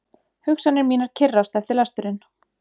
Hugsanir mínar kyrrast eftir lesturinn.